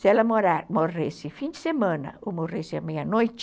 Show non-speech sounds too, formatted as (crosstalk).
Se ela (unintelligible) morresse fim de semana ou morresse à meia-noite,